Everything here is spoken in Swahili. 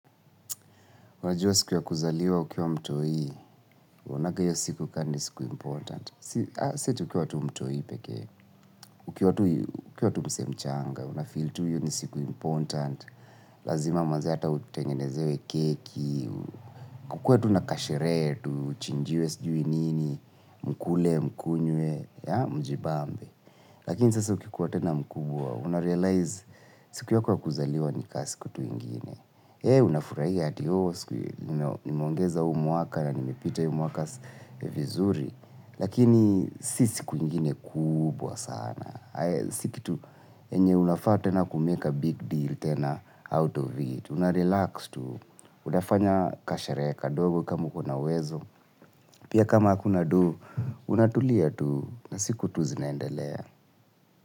Najua siku ya kuzaliwa ukiwa mtoi. Unaonanga hiyo siku kani siku important. Siati ukiwa tu mtoi pekee. Ukiwa tu msee mchanga. Unafeel tu hiyo ni siku important. Lazima manze hata utengenezewe keki. Kukue tu na kasherehe tu uchinjiwe sijui nini. Mkule, mkunywe mjibambe. Lakini sasa ukikuwa tena mkubwa. Una realize siku yako ya kuzaliwa ni ka siku tu ingine. Unafurahia ati. Nimeongeza huu mwaka na nimepita hii mwaka vizuri. Lakini si sikuingine kubwa sana. Si kitu enye unafaa tena kumake a big deal tena out of it. Una relax tu. Utafanya kasherehe kadogo kama ukona uwezo. Pia kama akuna do, unatulia tu na siku tu zinaendelea.